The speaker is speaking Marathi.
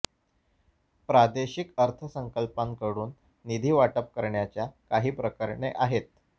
प्रादेशिक अर्थसंकल्पाकडून निधी वाटप करण्याच्या काही प्रकरणे आहेत